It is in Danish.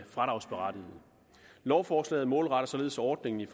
fradragsberettigede lovforslaget målretter således ordningen i